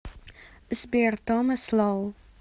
сбер томас лоу